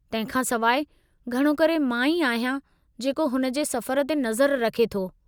तंहिं खां सिवाइ, घणो करे मां ई आहियां जेको हुन जे सफ़र ते नज़र रखे थो।